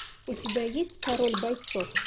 у тебя есть король бойцов